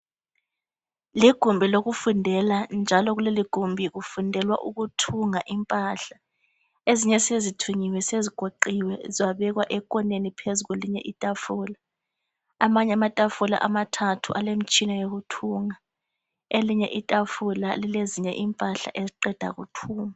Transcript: Ligumbi lokufundela njalo kuleligumbi kufundelwa ukuthunga impahla ezinye sezithungiwe sezigoqiwe zabekwa ekhoneni phezu kwelinye itafula amanye amatafula amathathu alemtshina yokuthunga elinye itafula lilezinye impahla eziqeda kuthungwa.